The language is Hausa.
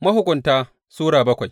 Mahukunta Sura bakwai